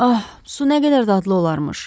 Ah, su nə qədər dadlı olarmış!